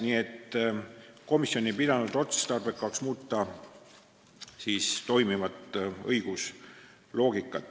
Nii et komisjon ei pidanud otstarbekaks muuta toimivat õigusloogikat.